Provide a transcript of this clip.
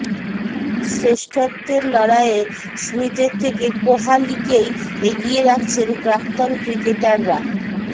শ্রেষ্ঠত্বের লড়াইয়ে স্মিথের থেকে কোহালিকেই এগিয়ে রাখছেন প্রাক্তন ক্রিকেটাররা